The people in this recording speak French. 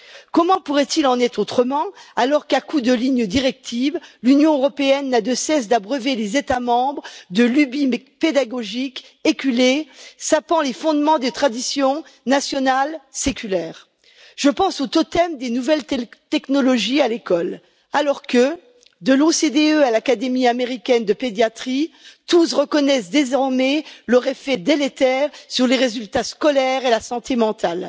Comment pourrait il en être autrement alors qu'à coup de lignes directrices, l'Union européenne n'a de cesse d'abreuver les États membres de lubies pédagogiques éculées sapant les fondements des traditions nationales séculaires. Je pense au totem des nouvelles technologies à l'école, alors que, de l'OCDE à l'Académie américaine de pédiatrie, tous reconnaissent désormais leur effet délétère sur les résultats scolaires et la santé mentale.